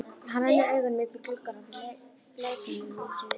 Hann rennir augunum upp í gluggana á leikfimihúsinu.